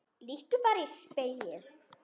Líttu bara í spegil.